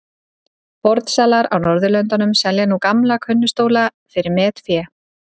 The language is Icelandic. Fornsalar á Norðurlöndum selja núna gamla könnustóla fyrir metfé.